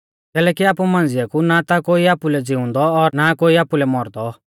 कैलैकि आमु मांझ़िऐ कु ना ता कोई आपुलै ज़िउंदौ और ना कोई आपुलै मौरदौ